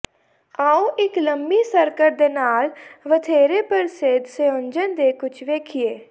ਆਉ ਇੱਕ ਲੰਮੀ ਸਕਰਟ ਦੇ ਨਾਲ ਵਧੇਰੇ ਪ੍ਰਸਿੱਧ ਸੰਯੋਜਨ ਦੇ ਕੁਝ ਵੇਖੀਏ